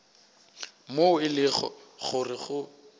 moo e lego gore go